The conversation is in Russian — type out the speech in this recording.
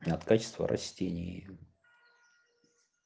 от качества растений